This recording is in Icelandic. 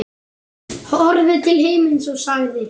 Horfði til himins og sagði: